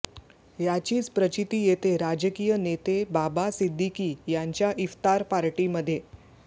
याचीच प्रचिती येते राजकीय नेते बाबा सिद्दीकी यांच्या इफ्तार पार्टीमध्ये